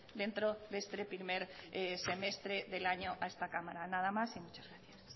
dentro de este primer semestre del año a esta cámara nada más y muchas gracias